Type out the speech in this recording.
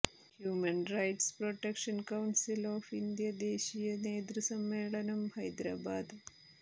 human rights protection council of India ദേശിയ നേതൃസമ്മേളനം ഹൈദരാബാദ്